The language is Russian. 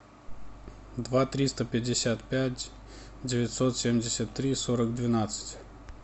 два триста пятьдесят пять девятьсот семьдесят три сорок двенадцать